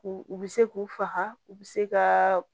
K'u u bɛ se k'u faga u bi se ka